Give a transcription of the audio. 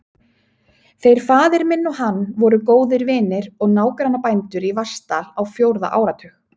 Þeir faðir minn og hann voru góðir vinir og nágrannabændur í Vatnsdal á fjórða áratug.